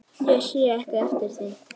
Ég sé ekki eftir því.